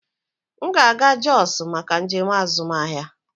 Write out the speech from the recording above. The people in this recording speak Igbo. M ga-aga Jos maka njem azụmahịa.